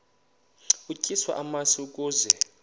utyiswa namasi ukaze